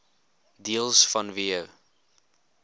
deels vanweë